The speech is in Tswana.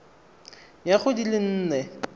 ya go di le nne